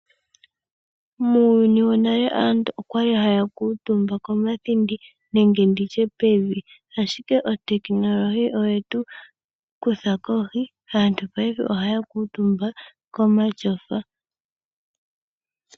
Muuyuni wonale aantu okwali haya kuutumba komathindi nenge pevi, ashike uutekinolohi owetu kutha kohi. Aantu paife ohaya kuutumba komatyofa.